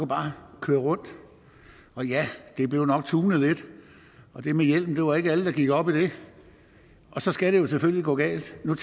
bare køre rundt og ja de blev nok tunet lidt og det med hjelm var det ikke alle der gik op i og så skal det jo selvfølgelig gå galt men